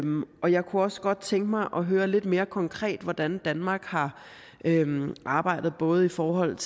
og jeg kunne også godt tænke mig at høre lidt mere konkret hvordan danmark har arbejdet både i forhold